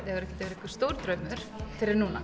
hefur ekkert verið einhver stór draumur fyrr en núna